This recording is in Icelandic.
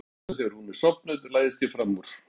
Og um nóttina þegar hún er sofnuð læðist ég fram úr.